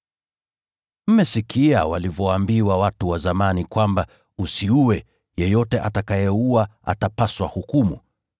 “Mmesikia walivyoambiwa watu wa zamani kwamba, ‘Usiue. Yeyote atakayeua atapaswa hukumu.’